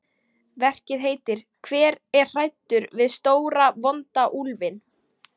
Verkið heitir Hver er hræddur við stóra, vonda úlfinn?